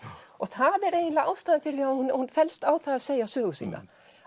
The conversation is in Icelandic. og það er eiginlega ástæðan fyrir því að hún fellst á það að segja sögu sína